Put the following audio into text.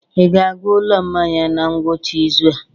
Ị ga-aga ụlọ mmanya na ngwụcha izu a?